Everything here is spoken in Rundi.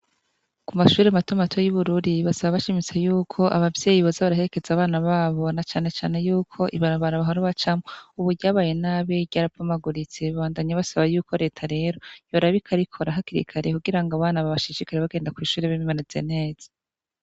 Kumashure mato mato yi bururi basaba bashimitse yuko abavyeyi boza baraherekeza abana babo na cane cane yuko ibarabara bahora bacamwo ubu ryabaye nabi ryarabomaguritse babandanya basaba yuko reta rero yoraba ikarikora hakiri kare kugira ngo abo bana bashishikare babandanye bagenda kwishure bameze neza